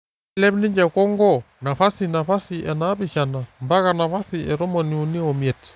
Neilep ninje Kongo napasi napasi e 7 mpaka napasi e 35.